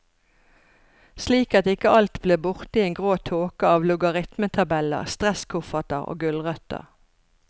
Slik at ikke alt blir borte i en grå tåke av logaritmetabeller, stresskofferter og gulrøtter.